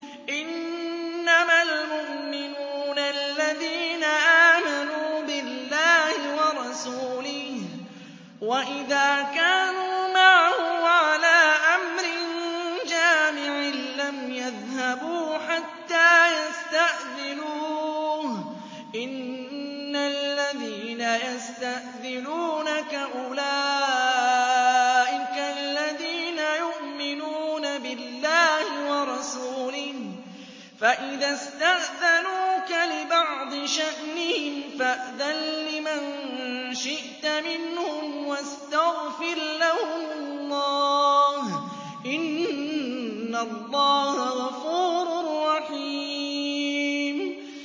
إِنَّمَا الْمُؤْمِنُونَ الَّذِينَ آمَنُوا بِاللَّهِ وَرَسُولِهِ وَإِذَا كَانُوا مَعَهُ عَلَىٰ أَمْرٍ جَامِعٍ لَّمْ يَذْهَبُوا حَتَّىٰ يَسْتَأْذِنُوهُ ۚ إِنَّ الَّذِينَ يَسْتَأْذِنُونَكَ أُولَٰئِكَ الَّذِينَ يُؤْمِنُونَ بِاللَّهِ وَرَسُولِهِ ۚ فَإِذَا اسْتَأْذَنُوكَ لِبَعْضِ شَأْنِهِمْ فَأْذَن لِّمَن شِئْتَ مِنْهُمْ وَاسْتَغْفِرْ لَهُمُ اللَّهَ ۚ إِنَّ اللَّهَ غَفُورٌ رَّحِيمٌ